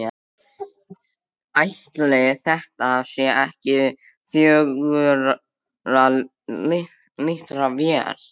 Ætli þetta sé ekki fjögurra lítra vél?